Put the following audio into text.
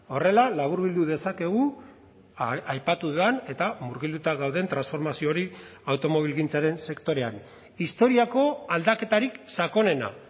horrela laburbildu dezakegu aipatu den eta murgilduta gauden transformazio hori automobilgintzaren sektorean historiako aldaketarik sakonena